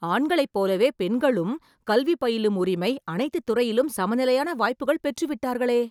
ஆண்களைப் போலவே பெண்களுக்கும் கல்வி பயிலும் உரிமை, அனைத்து துறையிலும் சமநிலையான வாய்ப்புகள் பெற்றுவிட்டார்களே..